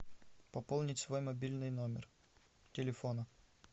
пополнить свой мобильный номер телефона